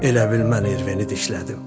Elə bil mən Erveni dişlədim.